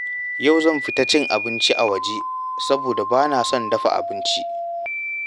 Yau zan fita cin abinci a waje saboda bana son dafa abinci.